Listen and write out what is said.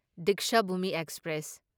Dikshabhoomi express